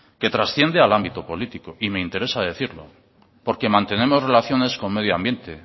que trasciende al ámbito político y me interesa decirlo porque mantenemos relaciones con medio ambiente